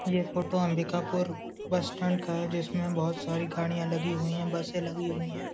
ये photo Ambikapur bus stand का है जिसमे बहुत सारी गाड़िया लगी हुई है बसे लगी हुई है।